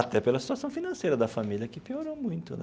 Até pela situação financeira da família, que piorou muito, né?